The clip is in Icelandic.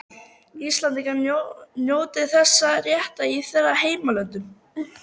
Íslendingar njóti þessa réttar í þeirra heimalöndum.